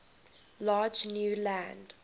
large new land